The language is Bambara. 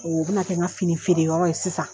O bɛ na kɛ n ka fini feere yɔrɔ ye sisan.